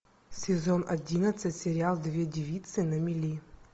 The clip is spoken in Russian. сезон одиннадцать сериал две девицы на мели